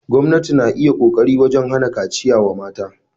Gwamnati na iya kokari wajen hana kaciya wa mata.